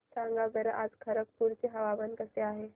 सांगा बरं आज खरगपूर चे हवामान कसे आहे